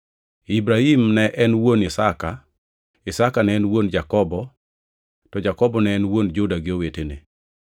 Ibrahim ne en wuon Isaka, Isaka ne en wuon Jakobo, to Jakobo ne en wuon Juda gi owetene.